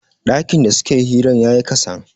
dakin da suke hirar ya yi kasan